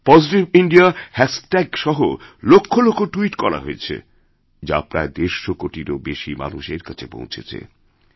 positive India হ্যাশট্যাগসহ লক্ষ লক্ষট্যুইট করা হয়েছে যা প্রায় দেড়শো কোটিরও বেশি মানুষের কাছে পৌঁছেছে